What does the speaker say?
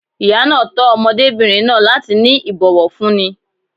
Ìyá náà tọ́ ọmọdébìnrin náà láti ní ìbòwọ̀fúní.